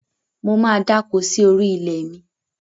Mo máa dáko sí orí ilẹ̀ mi.